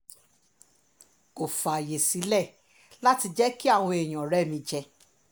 kò fààyè sílẹ̀ láti jẹ́ kí àwọn èèyàn rẹ̀ mí jẹ